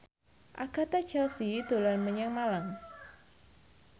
Agatha Chelsea dolan menyang Malang